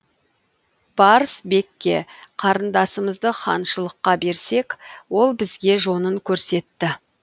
барс бекке қарындасымызды ханшылыққа берсек ол бізге жонын көрсетті